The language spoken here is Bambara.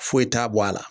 Foyi t'a bɔ a la